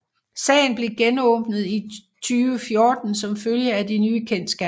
Sagen blev genåbnet i 2014 som følge af de nye kendsgerninger